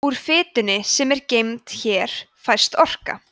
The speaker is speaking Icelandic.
úr fitunni sem er geymd hér fæst orka